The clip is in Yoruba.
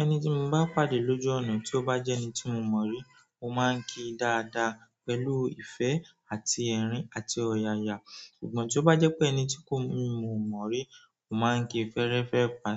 Ẹni tí mo bá pàdé lójú ọ̀nà tí ó bá jẹ́ ẹni tí mo mọ̀ rí, mo máa ń kí dáadáa pẹ̀lú ìfẹ́ àti ẹ̀rín àti ọ̀yàyà. Ṣùgbọ́n tí ó bá jẹ́ pé ẹni tí kò, mí ò mọ̀ rí, mo máa ń kí fẹ́ẹ́rẹ́fẹ́ pa